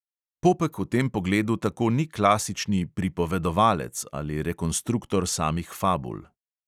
Popek v tem pogledu tako ni klasični "pripovedovalec" ali rekonstruktor samih fabul.